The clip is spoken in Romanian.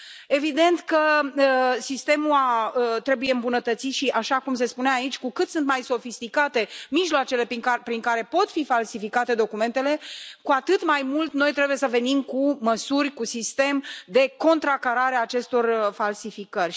Evident că sistemul trebuie îmbunătățit și, așa cum se spunea aici, cu cât sunt mai sofisticate mijloacele prin care pot fi falsificate documentele, cu atât mai mult noi trebuie să venim cu măsuri, cu un sistem de contracarare a acestor falsificări.